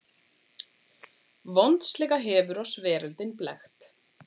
VONDSLEGA HEFUR OSS VERÖLDIN BLEKKT